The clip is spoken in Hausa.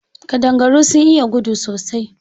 Ƙadangaru sun iya gudu sosai.